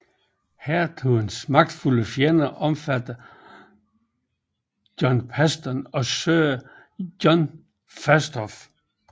Hertugens magtfulde fjender omfattede John Paston og Sir John Fastolf